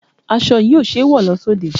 Aṣọ yìí ò ṣẹ́ wọ lọ sóde.